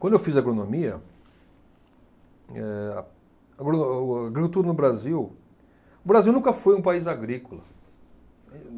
Quando eu fiz agronomia, eh a, agro, o agricultura no Brasil... O Brasil nunca foi um país agrícola.